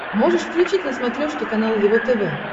можешь включить на смотрешке канал его тв